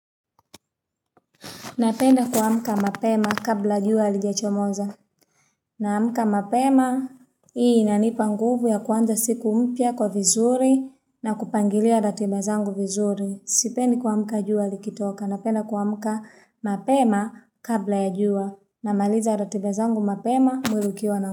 Napenda kwamka mapema kabla jua alijachomoza. Namka mapema, hii inanipa nguvu ya kwanza siku mpia kwa vizuri na kupangilia ratiba zangu vizuri. Sipendi kwamka jua likitoka. Napenda kwamka mapema kabla ya jua. Namaliza ratiba zangu mapema mwili ukiwa na kwa.